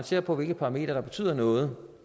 ser på hvilke parametre der betyder noget